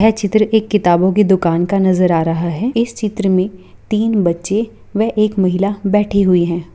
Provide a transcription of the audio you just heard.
ये चित्र एक दुकान की किताब का नजर आ रह है इस चित्र में तीन बच्चे वह एक महिला बैठी हुई है।